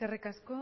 eskerrik asko